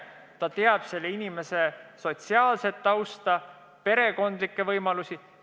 Ta teab iga inimese sotsiaalset tausta ja perekonna võimalusi.